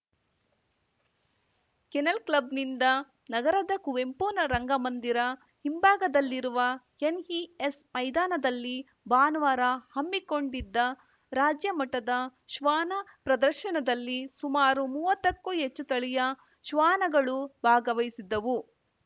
kennel ಕ್ಲಬ್‌ನಿಂದ ನಗರದ ಕುವೆಂಪು ನ ರಂಗಮಂದಿರ ಹಿಂಭಾಗದಲ್ಲಿರುವ ಎನ್‌ಇಎಸ್‌ ಮೈದಾನದಲ್ಲಿ ಭಾನುವಾರ ಹಮ್ಮಿಕೊಂಡಿದ್ದ ರಾಜ್ಯಮಟ್ಟದ ಶ್ವಾನ ಪ್ರದರ್ಶನದಲ್ಲಿ ಸುಮಾರು ಮೂವತ್ತಕ್ಕೂ ಹೆಚ್ಚು ತಳಿಯ ಶ್ವಾನಗಳು ಭಾಗವಹಿಸಿದ್ದವು